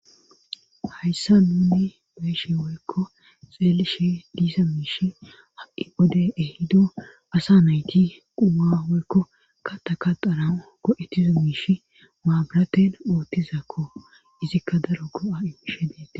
Hayssa nuni beeshi woykko xeelishe diisa miish ha7i bode ehido asa nayti quma woykko ka ta kadara go7ettizo miish maabaraten oottizakko izikka daro go7a7i mishe beete.